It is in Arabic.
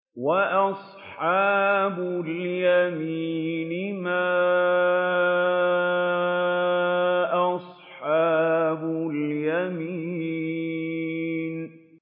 وَأَصْحَابُ الْيَمِينِ مَا أَصْحَابُ الْيَمِينِ